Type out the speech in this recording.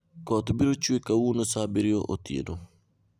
Koth biro chwe kawuono saa abiriyo otieno